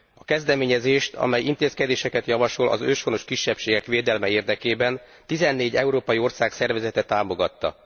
A kezdeményezést, amely intézkedéseket javasol az őshonos kisebbségek védelme érdekében, 14 európai ország szervezete támogatta.